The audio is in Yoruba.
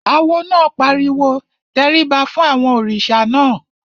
Awo náà pariwo "tẹríba fún àwọn òrìṣà náà!"